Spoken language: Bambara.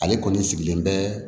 Ale kɔni sigilen bɛ